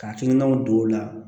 Ka hakilinaw don o la